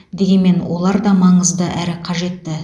дегенмен олар да маңызды әрі қажетті